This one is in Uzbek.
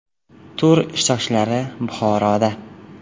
Tur ishtirokchilari Buxoroda.